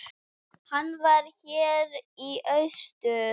Hann var hér í austur.